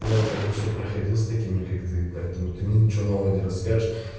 я уже это все проходил с такими как ты поэтому ты мне ничего нового не расскажешь